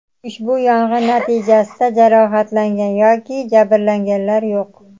Ushbu yong‘in natijasida jarohatlangan yoki jabrlanganlar yo‘q.